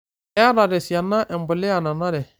Keata tesiana empuliya nanare.